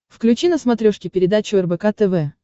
включи на смотрешке передачу рбк тв